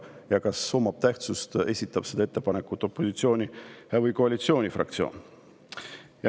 Ja kas omab tähtsust, kas ettepaneku esitas opositsiooni- või koalitsioonifraktsioon?